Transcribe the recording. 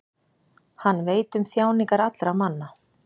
Hann veit um þjáningar allra manna.